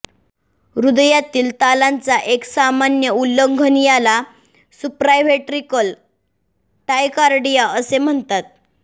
हृदयातील तालांचा एक सामान्य उल्लंघन याला सुप्राव्हेन्ट्रिकल टायकार्डिआ असे म्हणतात